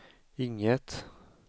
inget